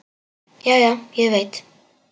Já, já, ég veit.